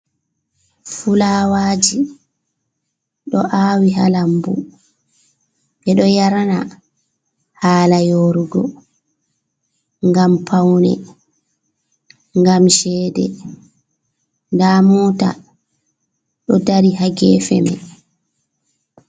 Fulawaji do awi ha lambu. Be do yarna hala yorugo, ngam paune, ngam chede. Nda mota do dari ha gefe man.